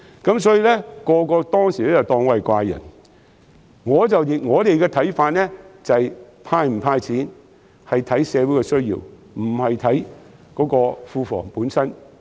當時所有人都當我是怪人，但我們的看法是，"派錢"與否應視乎社會的需要，而不是視乎庫房本身。